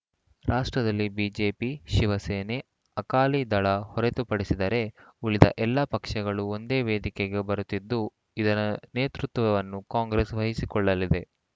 ರಾಷ್ಟ್ರದಲ್ಲಿ ಬಿಜೆಪಿ ಶಿವಸೇನೆ ಅಕಾಲಿದಳ ಹೊರತುಪಡಿಸಿದರೆ ಉಳಿದ ಎಲ್ಲ ಪಕ್ಷಗಳು ಒಂದೇ ವೇದಿಕೆಗೆ ಬರುತ್ತಿದ್ದು ಇದರ ನೇತೃತ್ವವನ್ನು ಕಾಂಗ್ರೆಸ್‌ ವಹಿಸಿಕೊಳ್ಳಲಿದೆ